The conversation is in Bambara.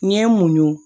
N ye n munun